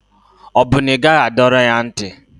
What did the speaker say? Ọ bụ na ị gaghị adọrọ ya ntị?